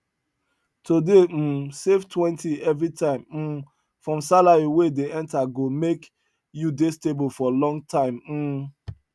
to dey um savetwentyevery time um from salary wey dey enter go make you dey stable for long time um